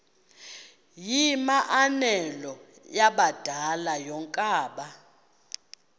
yimianelo yabadala yokaba